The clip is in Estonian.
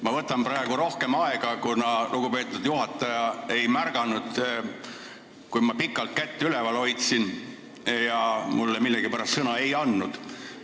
Ma võtan praegu kõnelemiseks rohkem aega, kuna lugupeetud juhataja ei märganud, et ma pikalt kätt üleval hoidsin, ja mulle millegipärast sõna ei andnud.